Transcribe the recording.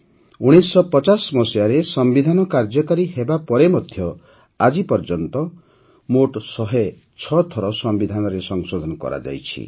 ୧୯୫୦ ମସିହାରେ ସମ୍ବିଧାନ କାର୍ଯ୍ୟକାରୀ ହେବାପରେ ମଧ୍ୟ ଆଜିପର୍ଯ୍ୟନ୍ତ ମୋଟ ୧୦୬ ଥର ସମ୍ବିଧାନରେ ସଂଶୋଧନ କରାଯାଇଛି